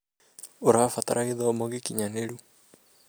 ũrabatara gĩthomo gĩkinyanĩru